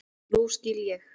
Nú skil ég.